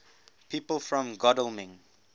people from godalming